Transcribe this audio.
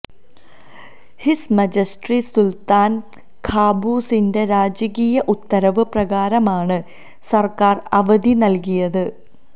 his majesty സുൽത്താൻ ഖാബൂസിന്റെ രാജകീയ ഉത്തരവ് പ്രകാരമാണ് സർക്കാർ അവധി നൽകിയത്